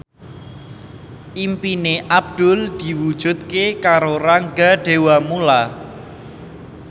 impine Abdullah diwujudke karo Rangga Dewamoela